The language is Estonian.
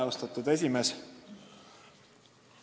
Austatud esimees!